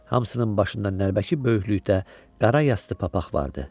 Hamısının başında nəlbəki böyüklükdə qara yastı papaq vardı.